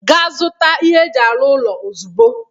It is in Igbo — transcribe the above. Ga zụta ihe eji arụ ụlọ ozigbo!